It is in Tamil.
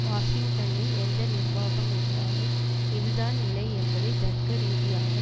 வாஷிங்டனில் எந்த நிர்வாகம் இருந்தாலும் இது தான் நிலை என்பதை தர்க்க ரீதியாக